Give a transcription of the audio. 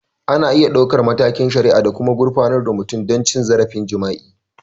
Ana iya ɗaukar matakin shari'a da kuma gurfanar da mutum don cin zarafin jima'i.